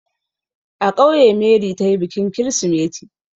A ƙauye Mary ta yi bikin kirsimeti.